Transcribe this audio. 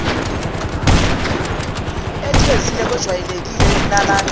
echezile kwejwayelekile yokulalana